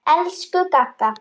Elsku Gagga.